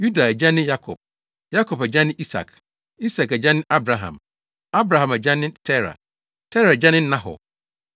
Yuda agya ne Yakob; Yakob agya ne Isak; Isak agya ne Abraham; Abraham agya ne Tera; Tera agya ne Nahor;